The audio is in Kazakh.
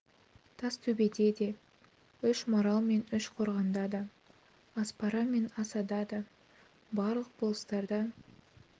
тастөбеде де үш марал мен үш қорғанда да аспара мен асада да барлық болыстарда